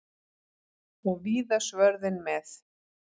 Og víða svörðinn með.